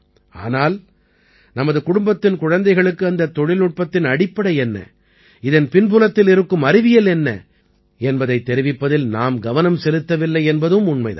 ஆனால் நமது குடும்பத்தின் குழந்தைகளுக்கு அந்தத் தொழில்நுட்பத்தின் அடிப்படை என்ன இதன் பின்புலத்தில் இருக்கும் அறிவியல் என்ன என்பதைத் தெரிவிப்பதில் நாம் கவனம் செலுத்தவில்லை என்பதும் உண்மை தான்